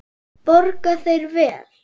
Borga þeir vel?